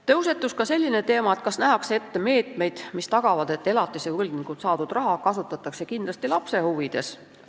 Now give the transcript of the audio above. Tõusetus ka teema, kas nähakse ette meetmeid, mis tagavad, et elatise võlgnikult saadud raha kasutatakse kindlasti lapse huvides.